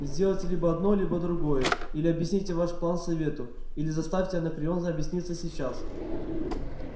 сделайте либо одно либо другое или объясните ваш план совету или заставьте анакреон объясниться сейчас